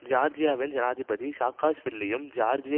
ஜியார்ஜியாவின் ஜனாதிபதி சாக்காஷ்வில்லியும் ஜியார்ஜிய